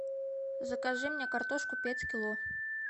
закажи мне картошку пять кило